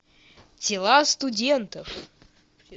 тела студентов